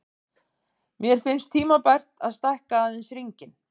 Mér finnst tímabært að stækka aðeins hringinn.